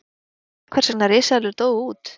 er vitað hvers vegna risaeðlur dóu út